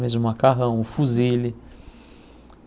Mesmo o macarrão, o fusilli.